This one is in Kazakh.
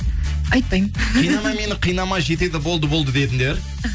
айтпаймын қинама мені қинама жетеді болды болды дедіңдер